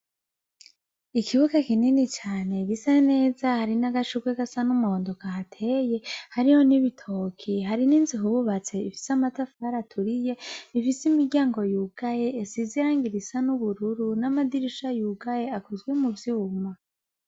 Ikibuga kinini cane gisa neza hari n' agashugwe gasa n' umuhondo kahateye hariho n' ibitoko hari n' inzu bubatse ifise amatafari aturiye ifise imiryango yugaye isize irangi risa n' ubururu n' amadirisha yugaye akozwe mu vyuma.